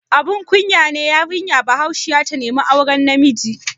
Abun kunya ne yarinya Bahaushiya ta nemi auren namiji?